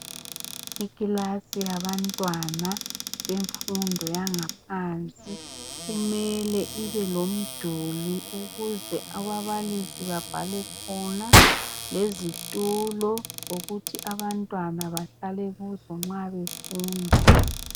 Ikilasi yabantwana bemfundo yangaphansi kumele ibe lomduli ukuze ababalisi babhale khona lezitulo zokuthi abantwana bahlale kuzo nxa befunda.